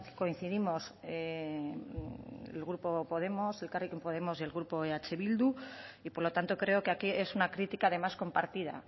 coincidimos el grupo podemos elkarrekin podemos y el grupo eh bildu y por lo tanto creo que aquí es una crítica además compartida